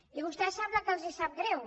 i a vostès sembla que els sap greu